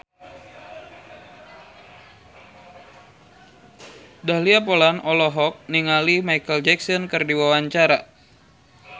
Dahlia Poland olohok ningali Micheal Jackson keur diwawancara